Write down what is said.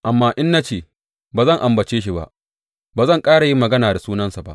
Amma in na ce, Ba zan ambace shi ba ba zan ƙara yin magana da sunansa ba,